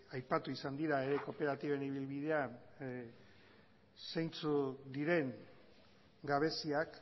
aipatu izan dira ere kooperatiben ibilbidean zeintzuk diren gabeziak